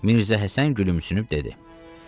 Mirzə Həsən gülümsünüb dedi: